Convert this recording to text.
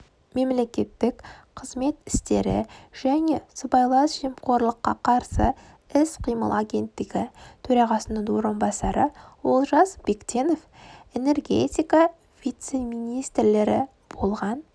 мемлекеттік қызмет істері және сыбайлас жемқорлыққа қарсы іс-қимыл агенттігі төрағасының орынбасары олжас бектенов энергентика вице-министрлері болған